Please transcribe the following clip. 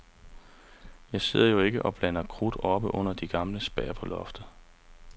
Jeg sidder jo ikke og blander krudt oppe under de gamle spær på loftet.